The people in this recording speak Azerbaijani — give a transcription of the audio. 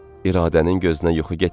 İradənin gözünə yuxu getmirdi.